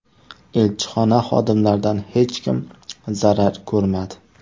Elchixona xodimlaridan hech kim zarar ko‘rmadi.